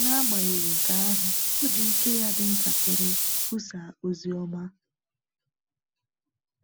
N’agbanyeghị nke ahụ, ọ ji ike ya dị ntakịrị kwusaa ozi ọma.